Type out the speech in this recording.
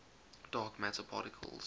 dark matter particles